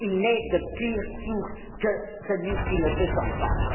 Il n'est de pire sourd que celui qui ne veut entendre.